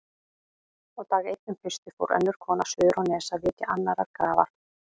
Og dag einn um haustið fór önnur kona suður á Nes að vitja annarrar grafar.